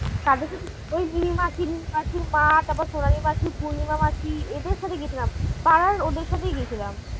কাদের সাথে ওই দিদিমা মাসিমা তারপর সোনালি মাসি পূর্ণিমা মাসি এদের সাথে গেছিলাম পাড়ার ওদের সাথেই গেছিলাম।